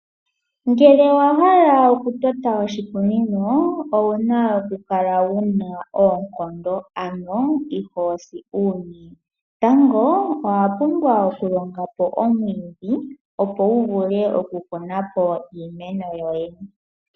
Ngele owa hala oku tota oshikunino owuna oku kala wuna oonkondo. Ano ihoo si uunye. Tango owa pumbwa oku longa po omwiidhi opo wu vule oku kunapo iimeno yoye.